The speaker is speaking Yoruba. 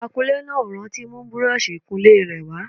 Akunlé náà ò rántí mú búrọ́ọ̀ṣì ìkunlé rẹ̀ wá